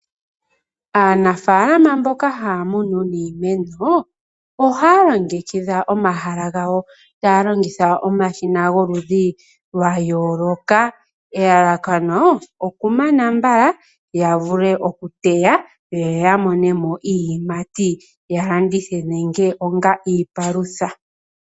Anafaalama mboka haya munu iimeno ohaya longekidha omahala gawo taya longitha omashina gomaludhi lwa yooloka elalakano oku mana mbala ya vule okuteya yo ya mone mo iiyimati ya landithe nenge onga iipalutha.